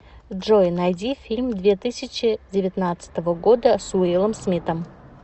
джой найди фильм две тысячи девятнадцатого года с уиллом смитом